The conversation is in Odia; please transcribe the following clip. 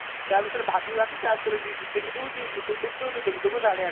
ତା ବିଷୟରେ ଭାବି ଭାବି ତା ଭିତରେ ଟିକେ youtube ଦେଖିଦେଉଛି